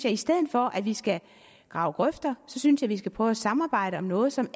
i stedet for at vi skal grave grøfter synes jeg vi skal prøve at samarbejde om noget som